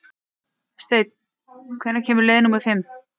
Steinn, hvenær kemur leið númer fimm?